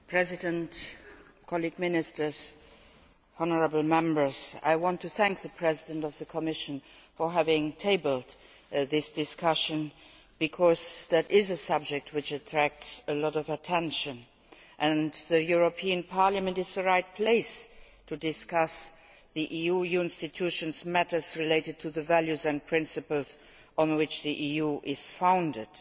Mr President, colleagues, Ministers, honourable Members, I want to thank the President of the Commission for having tabled this discussion. This is a subject that attracts a lot of attention, and the European Parliament is the right place to discuss the EU institutions and matters related to the values and principles on which the European Union is founded.